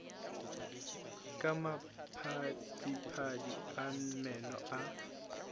ka maphadiphadi a meno a